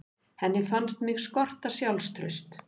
Henni fannst mig skorta sjálfstraust.